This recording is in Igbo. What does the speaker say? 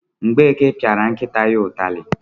Mgbeke piara nkịta ya itari